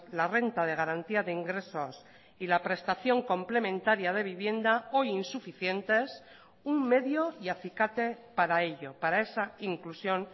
la renta de garantía de ingresos y la prestación complementaria de vivienda o insuficientes un medio y acicate para ello para esa inclusión